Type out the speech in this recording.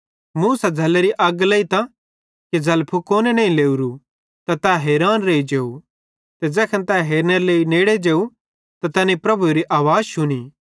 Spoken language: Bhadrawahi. मूसा झ़ल्लेरी अग्गी लेइतां कि झ़ल फुकोने नईं लोरू त तै हैरान रेइ जेव ते ज़ैखन तै हेरनेरे लेइ नेड़े जेव त तैनी प्रभुएरी आवाज़ शुनी